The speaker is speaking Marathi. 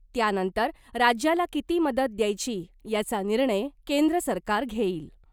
त्यानंतर राज्याला किती मदत द्यायची याचा निर्णय केंद्र सरकार घेईल .